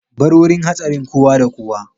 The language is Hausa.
Bar wurin hatsarin, kowa da kowa!